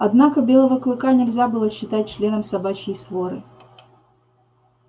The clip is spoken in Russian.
однако белого клыка нельзя было считать членом собачьей своры